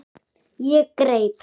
Ég greip